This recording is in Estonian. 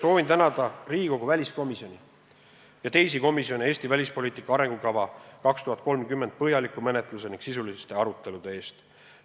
Soovin tänada Riigikogu väliskomisjoni ja teisi komisjone Eesti välispoliitika arengukava 2030 põhjaliku menetluse ning sisuliste arutelude eest.